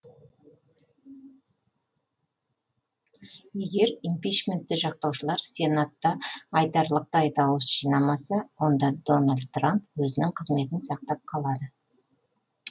егер импичментті жақтаушылар сенатта айтарлықтау дауыс жинамаса онда дональд трамп өзінің қызметін сақтап қалады